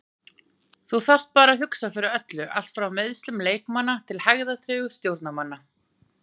Þú þarft bara að hugsa fyrir öllu, allt frá meiðslum leikmanna til hægðatregðu stjórnarmanna.